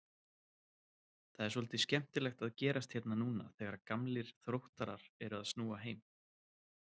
Það er svolítið skemmtilegt að gerast hérna núna þegar gamlir Þróttarar eru að snúa heim?